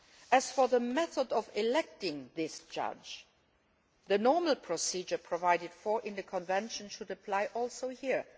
As for the method of electing this judge, the normal procedure provided for in the Convention should also apply here.